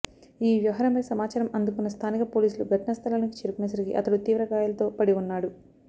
ఈ వ్యవహారంపై సమాచారం అందుకున్న స్థానిక పోలీసులు ఘటనాస్థలానికి చేరుకునేసరికి అతడు తీవ్ర గాయాలతో పడివున్నాడు